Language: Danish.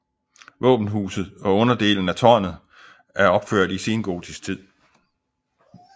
Våbenhuset og underdelen af tårnet er opført i sengotisk tid